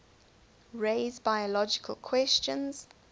raise biological questions